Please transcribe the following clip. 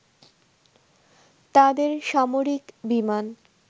তাদের সামরিক বিমান